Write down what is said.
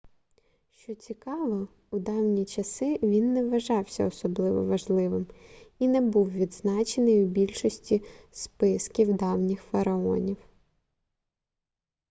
що цікаво у давні часи він не вважався особливо важливим і не був відзначений у більшості списків давніх фараонів